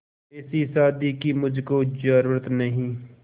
ऐसी शादी की मुझको जरूरत नहीं